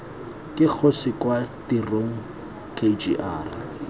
ke kgosi kwa tirong kgr